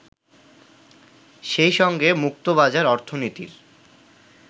সেই সঙ্গে মুক্তবাজার অর্থনীতির